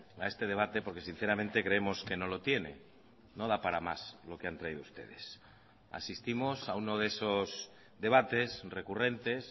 a este debate porque sinceramente creemos que no lo tiene no da para más lo que han traído ustedes asistimos a uno de esos debates recurrentes